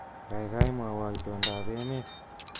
Kaikai mwowo itondoab emet